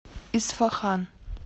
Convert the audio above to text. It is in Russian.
исфахан